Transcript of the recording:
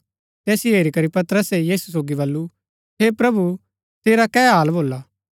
तैसिओ हेरी करी पतरसे यीशु सोगी बल्लू हे प्रभु सेरा कै हाल भोला